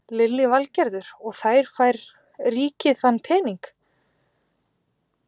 Lillý Valgerður: Og þær fær ríkið þann pening?